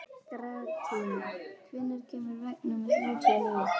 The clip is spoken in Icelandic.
Gratíana, hvenær kemur vagn númer þrjátíu og níu?